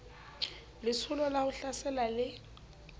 letsholo la ho hlasela le